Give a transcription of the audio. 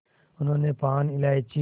उन्होंने पान इलायची